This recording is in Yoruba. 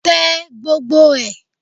Tẹ gbogbo ẹ̀!